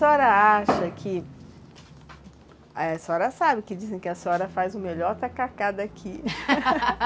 A senhora acha que... A senhora sabe que dizem que a senhora faz o melhor tacacá daqui